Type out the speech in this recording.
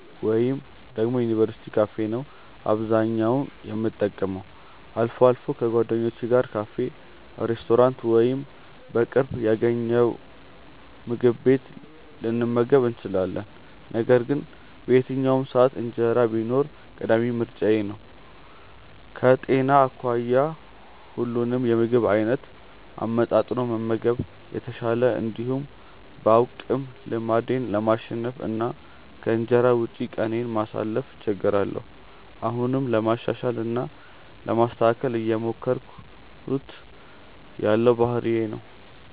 ወይ ደግሞ የዩኒቨርስቲ ካፌ ነው አብዛኛውን የምጠቀመው። አልፎ አልፎ ከጓደኞቼ ጋር ካፌ፣ ሬስቶራንት ወይም በቅርብ ያገኘነውምግብ ቤት ልንመገብ እንችላለን። ነገር ግን በየትኛውም ሰዓት እንጀራ ቢኖር ቀዳሚ ምርጫዬ ነው። ከጤና አኳያ ሁሉንም የምግብ አይነት አመጣጥኖ መመገብ የተሻለ እንደሆነ ባውቅም ልማዴን ለማሸነፍ እና ከእንጀራ ውጪ ቀኔን ለማሳለፍ እቸገራለሁ። አሁንም ለማሻሻል እና ለማስተካከል እየሞከርኩት ያለው ባህሪዬ ነው።